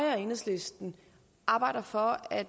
og enhedslisten arbejder for at